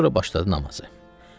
Və sonra başladı namaza.